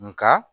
Nka